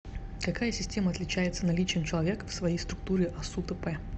какая система отличается наличием человека в своей структуре асу тп